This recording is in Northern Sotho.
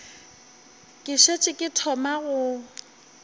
ke šetše ke thoma go